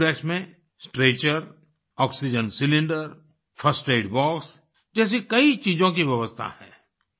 एम्बुरेक्स में stretcher oxygen cylinder first aid box जैसी कई चीजों की व्यवस्था है